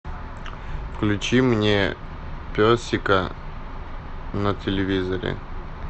включи мне песика на телевизоре